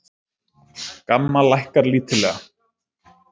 GAMMA lækkar lítillega